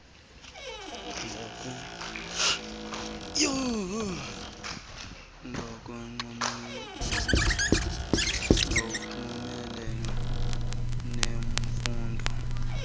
ngokunxulumene ngqo nemfundo